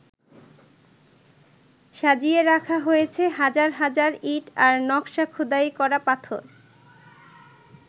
সাজিয়ে রাখা হয়েছে হাজার হাজার ইঁট আর নকশা খোদাই করা পাথর।